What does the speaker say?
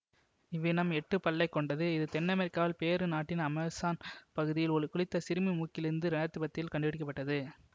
இவ்வினம் எட்டுப் பல்லை கொண்டது இது தென்னமெரிக்காவில் பேரு நாட்டின் அமேசான் பகுதியில் குளித்த சிறுமியின் மூக்கிலிருந்து இரண்டு ஆயிரத்தி பத்தில் கண்டெடுக்க பட்டது